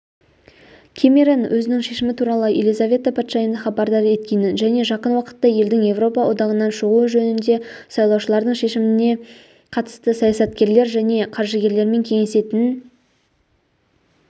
кэмерон өзінің шешімі туралы елизавета патшайымды хабардар еткенінжәне жақынуақытта елдің еуропа одағынан шығуы жөнінде сайлаушылардың шешіміне қатысты саясаткерлержәне қаржыгерлермен кеңесетінін